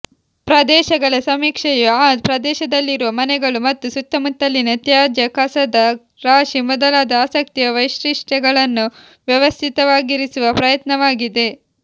ಪ್ರದೇಶಗಳ ಸಮೀಕ್ಷೆಯು ಆ ಪ್ರದೇಶದಲ್ಲಿರುವ ಮನೆಗಳು ಮತ್ತು ಸುತ್ತಮುತ್ತಲಿನ ತ್ಯಾಜ್ಯ ಕಸದ ರಾಶಿ ಮೊದಲಾದ ಆಸಕ್ತಿಯ ವೈಶಿಷ್ಟ್ಯಗಳನ್ನು ವ್ಯವಸ್ಥಿತವಾಗಿರಿಸುವ ಪ್ರಯತ್ನವಾಗಿದೆ